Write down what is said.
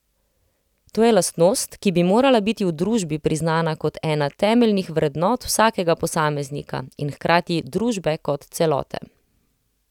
To je lastnost, ki bi morala biti v družbi priznana kot ena temeljnih vrednot vsakega posameznika in hkrati družbe kot celote.